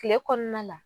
Kile kɔnɔna la